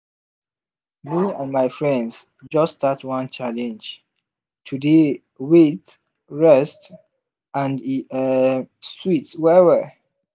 me and my friends just start one challenge to dey wait rest and e um sweet well well.